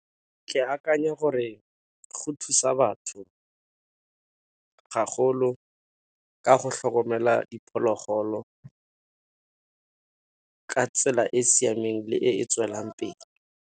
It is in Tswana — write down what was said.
Ke akanya gore go thusa batho gagolo ka go hlokomela diphologolo, ka tsela e e siameng le e e tswelelang pele.